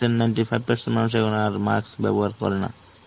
এই ninety percent এই ninety five percent মানুষে এখন আর mask ব্যবহার করে না.